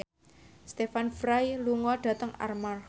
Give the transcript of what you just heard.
Stephen Fry lunga dhateng Armargh